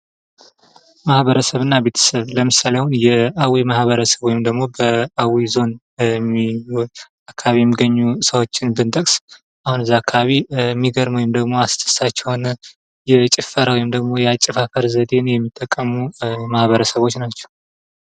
ማህበረሰብና ቤተሰብ ለምሳሌ አሁን የአዊ ማህበረሰብ ወይም ደግሞ አዊ ዞን አካባቢ የሚገኘው ሰዎችን ብንጠቅስ አሁን ከዛ አካባቢ የሚገርም ወይም አስደሳች የሆነ የጭፈራ ወይም ያጨፋፈር ዘዴን የሚጠቀሙ ማህበረሰቦች ናቸው ::